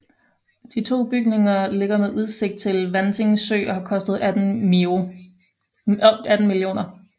De to bygninger ligger med udsigt til Vanting Sø og har kostet 18 mio